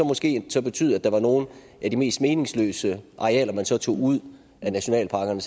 måske betyde at der var nogle af de mest meningsløse arealer man så tog ud af nationalparkerne